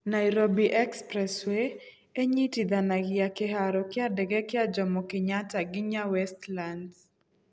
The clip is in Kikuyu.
Nairobi Expressway ĩnyitithanagia kĩhaaro kĩa ndege kĩa Jomo Kenyatta nginya Westlands.